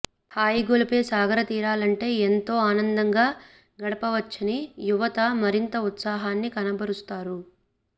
హాయిగొలిపే సాగరతీరాలంటే ఎంతో ఆనందంగా గడపవచ్చని యువత మరింత ఉత్సాహాన్ని కనబరుస్తారు